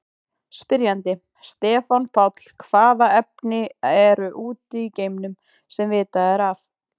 Spyrjandi: Stefán Páll Hvaða efni eru úti í geimnum, sem vitað er af?